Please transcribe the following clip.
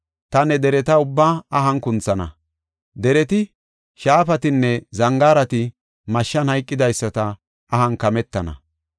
Taani ne dereta ubbaa ahan kunthana; dereti, shaafatinne zangaarati mashshan hayqidaysata ahan kametana.